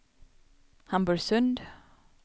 Hamburgsund